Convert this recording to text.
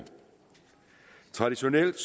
traditionelt